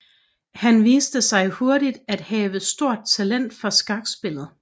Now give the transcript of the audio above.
Han viste sig hurtigt at have stort talent for skakspillet